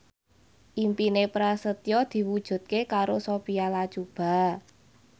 impine Prasetyo diwujudke karo Sophia Latjuba